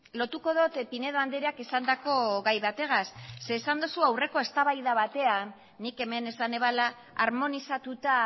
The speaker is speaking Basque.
lotuko dut pinedo andreak esandako gai bategaz esan duzu aurreko eztabaida batean nik hemen esan nuela harmonizatuta